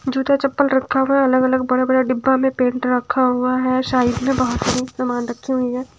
जूता चप्पल रखा हुआ है अलग अलग बड़ा बड़ा डिब्बा में पेंट रखा हुआ है साइड में बहोत सारी समान रखी हुई है।